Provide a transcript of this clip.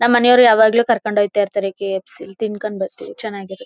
ನಮ್ ಮನೆಯವರು ಯಾವಾಗಲೂ ಕರ್ಕೊಂಡು ಹೊಯ್ಥೈರ್ಥರೇ ಕೆ ಎಫ್ ಸಿ ಅಲ್ಲಿ. ತಿನ್ಕೊಂಡು ಬರ್ತಿವಿ ಚೆನ್ನಾಗಿರುತ್ತೆ.